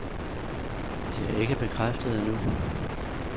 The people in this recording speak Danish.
Det er ikke bekræftet endnu.